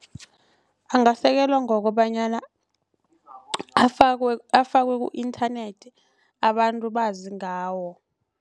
Angasekelwa ngokobanyana afakwe afakwe ku-internet abantu bazi ngawo.